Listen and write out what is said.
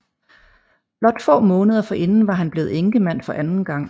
Blot få måneder forinden var han blevet enkemand for anden gang